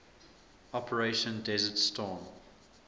operation desert storm